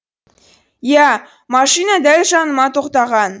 иә машина дәл жаныма тоқтаған